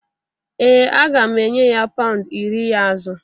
Ee a ga m enye ya pound iri ya azụ